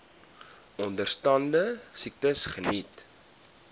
onderstaande siektes geniet